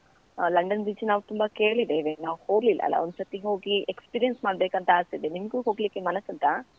ಆ London beach ನಾವು ತುಂಬಾ ಕೇಳಿದ್ದೇವೆ ನಾವು ಹೋಗ್ಲಿಲ್ಲ ಅಲ್ಲ, ಒಂದು ಸರ್ತಿ ಹೋಗಿ experience ಮಾಡ್ಬೇಕಂತ ಆಸೆ ಇದೆ, ನಿಮ್ಗೂ ಹೋಗಲಿಕ್ಕೆ ಮನಸುಂಟಾ?